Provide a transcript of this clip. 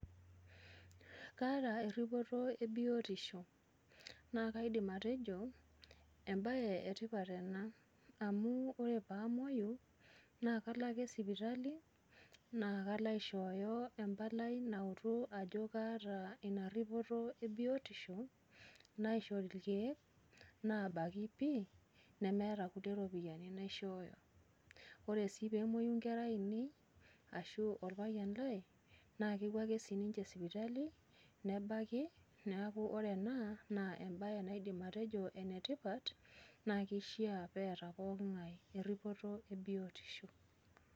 kaata eripoto ebiotisho, naa kaidim atejo ebae etipat ena, amu ore pee amuoyu, naa kalo ake sipitali, naa kalo aishoyo empalai naitodolu ajo kaata ina ripoto e biotisho, naishori irkeek naabaki pii, nemeeta kulie ropiyiani naishooyo. ore sii pee emuoyu nkera ainei ashu orpayian lai, naa kepuo ake sii ninche sipitali, nebaki, neku ore ena naa embae naidim atejo ene tipat. neku kishaa neeta pooki ngae eripoto ebiotisho.